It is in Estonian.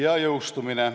Ja jõustumine.